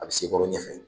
A bɛ se kɔrɔ ɲɛfɛ